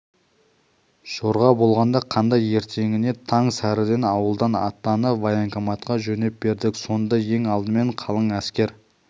жорға болғанда қандай ертеңіне таң сәріден ауылдан аттанып военкоматқа жөнеп бердік сонда ең алдымен қалың әскер